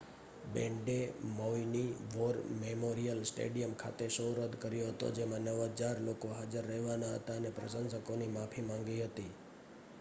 બેન્ડે મૌઈની war memorial stadium ખાતે show રદ કર્યો હતો જેમાં 9,000 લોકો હાજર રહેવાના હતા અને પ્રશંસકોની માફી માંગી હતી